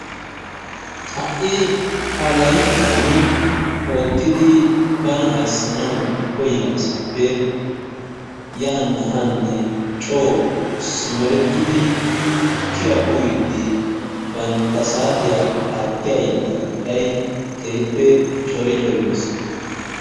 Ha'i ha llayttaan oottidi bana ayssanawu koyyiyaa asappe yaanne haanne coo simerettidi tukkiyaa uuyiidi banttaa saatiyaa aattiyaa yeletaa qooday keehippe cori cori bees.